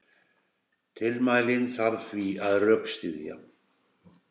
Tilmælin þarf því að rökstyðja.